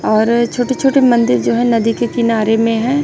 और छोटे छोटे मंदिर जो है नदी के किनारे में है।